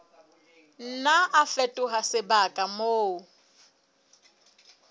nna a fetoha sebaka moo